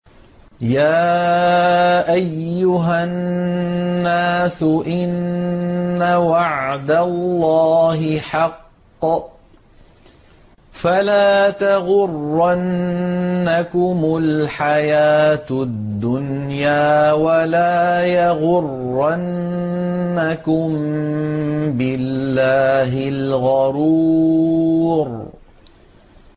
يَا أَيُّهَا النَّاسُ إِنَّ وَعْدَ اللَّهِ حَقٌّ ۖ فَلَا تَغُرَّنَّكُمُ الْحَيَاةُ الدُّنْيَا ۖ وَلَا يَغُرَّنَّكُم بِاللَّهِ الْغَرُورُ